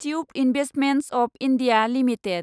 tube Investments of India limited